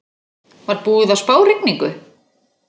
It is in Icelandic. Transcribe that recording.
Var búið að spá rigningu?